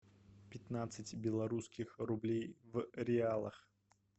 пятнадцать белорусских рублей в реалах